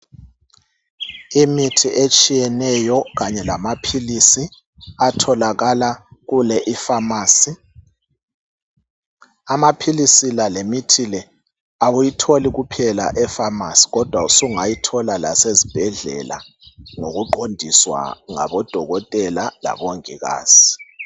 Imithi etshiyeneyo kanye lamaphilisi, atholakala kule ifamasi. Amaphilisi la lemithi le awuyitholi kuphela efamasi kodwa usungayithola lasezibhedlela ngokuqondiswa ngabodokotela labongikazi.